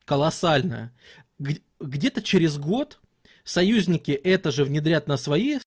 колоссальная г где-то через год союзники это же внедрят на свои